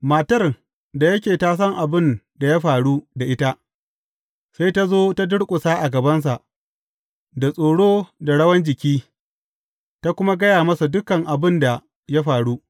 Matar, da yake ta san abin da ya faru da ita, sai ta zo ta durƙusa a gabansa, da tsoro da rawan jiki, ta kuma gaya masa dukan abin da ya faru.